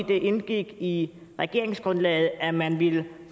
det indgik i regeringsgrundlaget at man ville